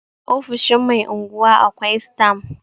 ofoshin Mai unguwa akwai stam